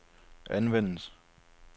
anvendes